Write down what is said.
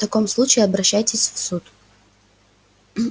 в таком случае обращайтесь в суд